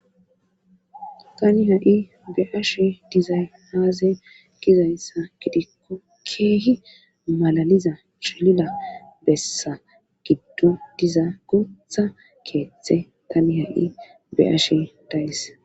Tani ha7i be ashi dizay haaze gizayssa gidikko keehi malaliza chilila bessa giddon diza guutha keeththe tani ha7i be7ashe dayis